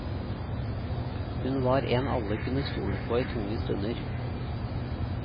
Hun var en alle kunne stole på i tunge stunder.